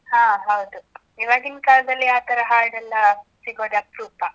ಹಾ ಹೌದು. ಇವಾಗಿನ್ ಕಾಲ್ದಲ್ಲಿ ಆತರ ಹಾಡೆಲ್ಲ ಸಿಗೊದೇ ಅಪ್ರೂಪ.